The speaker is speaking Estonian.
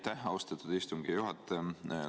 Aitäh, austatud istungi juhataja!